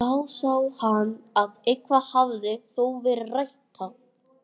Þá sá hann að eitthvað hafði þó verið ræktað.